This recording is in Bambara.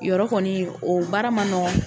Yɔrɔ o kɔni , o baara ma nɔgɔn.